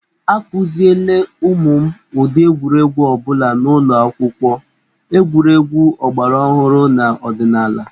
A kụziele ụmụ m ụdị egwuregwu ọ bụla n'ụlọ akwụkwọ, egwuregwu ọgbaraọhụrụ na ọdịnaala.